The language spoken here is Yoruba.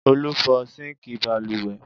Olú fọ́ síńkì balùwẹ̀?